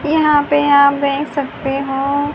यहां पे आप देख सकते हो--